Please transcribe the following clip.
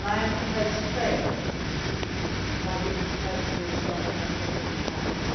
to be at. I am prepared to fail, by being prepared to be as strong as I possibly